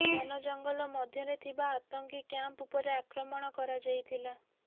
ଘନ ଜଙ୍ଗଲ ମଧ୍ୟରେ ଥିବା ଆତଙ୍କୀ କ୍ୟାମ୍ପ ଉପରେ ଆକ୍ରମଣ କରାଯାଇଥିଲା